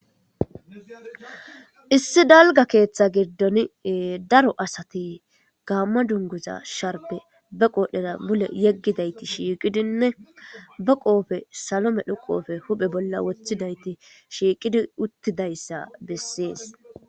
Issi dalga keeththa giddon daro asati gaamma dunguza sharbe ba qoodhdheda mule yeggidayti shiiqidinne ba qoofe salome dhoqoofe huphe bolla wothidayti shiiqidi uttidayssa bessees.